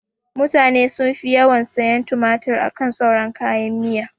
Mutane sun fi yawan sayan tumatur akan sauran kayan miya